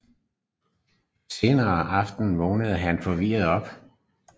Senere på aftenen vågner han forvirret op